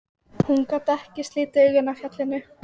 Hún gat ekki slitið augun af fjallinu.